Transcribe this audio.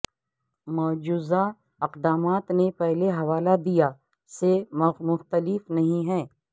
مجوزہ اقدامات نے پہلے حوالہ دیا سے مختلف نہیں ہے